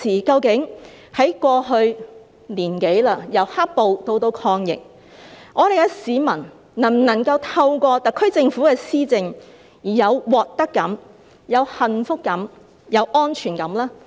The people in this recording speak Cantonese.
究竟在過去一年多，由"黑暴"以至抗疫，市民能否透過特區政府的施政而有獲得感、幸福感和安全感呢？